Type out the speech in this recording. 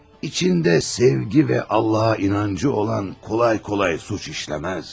İçində sevgi və Allaha inancı olan asanlıqla cinayət törətməz.